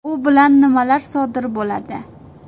U bilan nimalar sodir bo‘ladi?